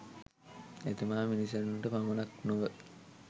එතුමා මිනිසුනට පමණක් නොව